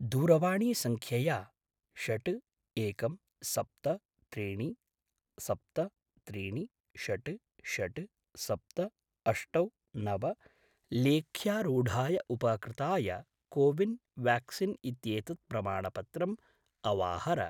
दूरवाणीसङ्ख्यया षट् एकं सप्त त्रीणि सप्त त्रीणि षट् षट् सप्त अष्टौ नव , लेख्यारूढाय उपकृताय को विन् व्याक्सीन् इत्येतत् प्रमाणपत्रं अवाहर।